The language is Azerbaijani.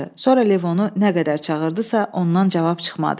Sonra Levonu nə qədər çağırdısa, ondan cavab çıxmadı.